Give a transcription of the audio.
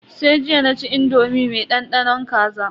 Sai jiya naci indomi me dandanon kaza.